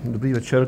Dobrý večer.